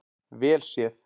vel sé.